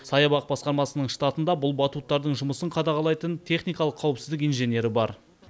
саябақ басқармасының штатында бұл батуттардың жұмысын қадағалайтын техникалық қауіпсіздік инженері бар